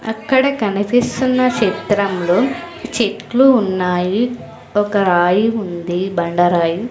అక్కడ కనిపిస్తున్న సిత్రంలో చెట్లు ఉన్నాయి ఒక రాయి ఉంది బండ రాయు.